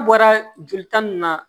An bɔra joli tan nin na